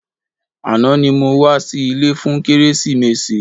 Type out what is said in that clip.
Àná ni mo wá sí ilé fún kérésìmesì.